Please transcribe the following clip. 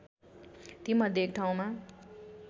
तीमध्ये एक ठाउँमा